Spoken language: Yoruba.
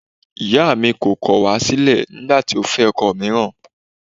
Ìyáà mi kọ̀ wá sílẹ̀ nígbà tí ó fẹ́ ọkọ mìíràn